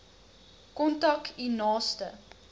kontak u naaste